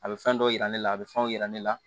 A bɛ fɛn dɔw yira ne la a bɛ fɛnw yira ne la